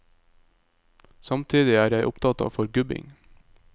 Samtidig er jeg opptatt av forgubbing.